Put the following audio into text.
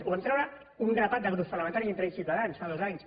ho vam traure un grapat de grups parlamentaris entre ells ciutadans fa dos anys